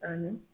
Ani